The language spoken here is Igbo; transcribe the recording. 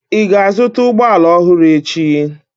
Ị ga-azụta ụgbọ ala ọhụrụ echi?